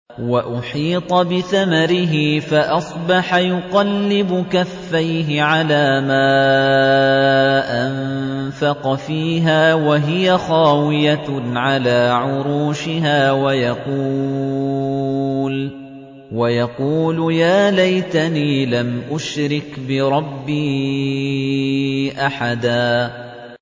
وَأُحِيطَ بِثَمَرِهِ فَأَصْبَحَ يُقَلِّبُ كَفَّيْهِ عَلَىٰ مَا أَنفَقَ فِيهَا وَهِيَ خَاوِيَةٌ عَلَىٰ عُرُوشِهَا وَيَقُولُ يَا لَيْتَنِي لَمْ أُشْرِكْ بِرَبِّي أَحَدًا